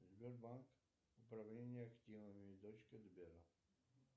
сбербанк управление активами дочка сбера